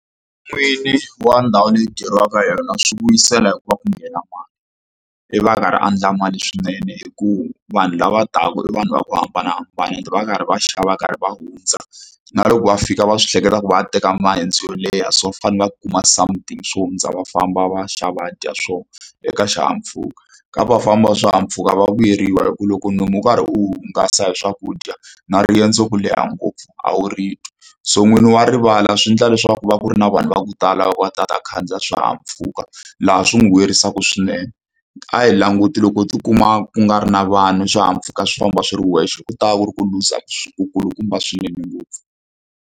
N'wini wa ndhawu leyi ku dyeriwaka yona swi vuyisela hikuva ku nghena mali ivi a karhi a endla mali swinene hikuva vanhu lava taka i vanhu va ku hambanahambana and va karhi va xava va karhi va hundza na loko va fika va swi hleketa ku va a teka mayendzo yo leha so va fanele va kuma something swo hundza va famba va xa va dya swona eka xihahampfhuka. Ka vafambi va swihahampfuka va vuyeriwa hi ku loko nomu u karhi wu hungasa hi swakudya na riendzo ku leha ngopfu a wu ri twi so n'wini wa rivala swi endla leswaku va ku ri na vanhu va ku tala va va ku va ta khandziya swihahampfhuka laha swi n'wi vuyerisaka swinene a hi languti loko tikuma ku nga ri na vanhu swihahampfhuka swi famba swi ri wexe ku ta va ku ri ku luza ku kulukumba swinene ngopfu.